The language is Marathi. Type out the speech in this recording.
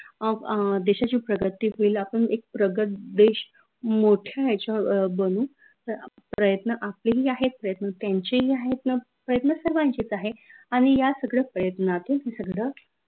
अं अं देशाची प्रगती होईल आपन एक प्रगत देश मोठ्या याच्यावर बनू प्रयत्न आपले ही आहेत, प्रयत्न त्यांचे ही आहेत, प्रयत्न सर्वांचेच आहे आनि या सगड्या प्रयत्नातून हे सगड